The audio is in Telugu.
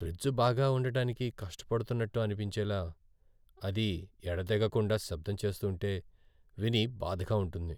ఫ్రిజ్ బాగా ఉండటానికి కష్టపడుతున్నట్టు అనిపించేలా అది ఎడతెగకుండా శబ్దం చేస్తూంటే విని బాధగా ఉంటుంది.